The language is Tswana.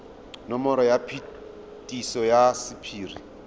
nomoro ya phetiso ya sephiri